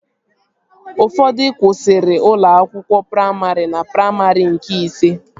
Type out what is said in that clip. Ụfọdụ kwụsịrị ụlọ akwụkwọ praimarị na praimarị nke ise